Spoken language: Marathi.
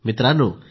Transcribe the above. मित्रांनो